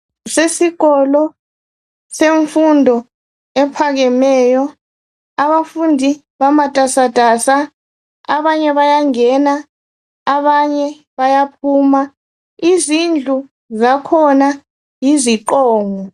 Kusesikolo semfundo ephakemeyo. Abafundi bamatasatasa. Abanye bayangena abanye bayaphuma. Izindlu zakhona yiziqongo.